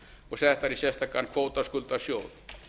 og settar í sérstakan kvótaskuldasjóð